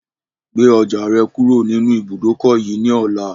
Gbe ọjà rẹ kúrò nínú ibùdókọ̀ yìí ni ọ̀la!